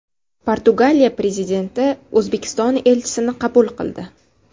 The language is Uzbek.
Portugaliya prezidenti O‘zbekiston elchisini qabul qildi.